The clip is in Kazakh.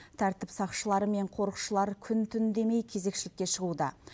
тәртіп сақшылары мен қорықшылар күн түн демей кезекшілікке шығуда